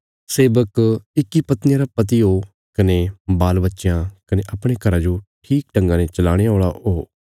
सेवक इक्की पत्निया रा पति हो कने बालबच्चयां कने अपणे घरा जो ठीक ढंगा ने चलाणे औल़ा हो